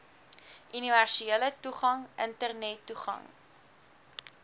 universele toegang internettoegang